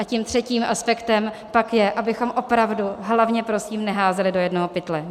A tím třetím aspektem pak je, abychom opravdu hlavně prosím neházeli do jednoho pytle.